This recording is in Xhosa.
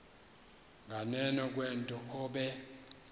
nganeno kwento obe